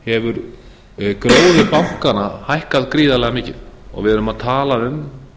hefur gróður bankanna hækkað gríðarlega mikið og við erum að tala um